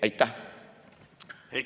Aitäh!